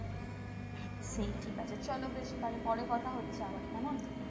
সেই ঠিক আছে চলো তাহলে বেশ পরে কথা হচ্ছে আবার কেমন?